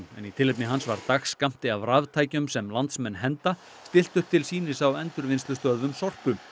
en í tilefni hans var dagskammti af raftækjum sem landsmenn henda stillt upp til sýnis á endurvinnslustöðvum Sorpu